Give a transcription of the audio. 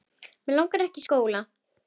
Mig langar ekkert í skóla.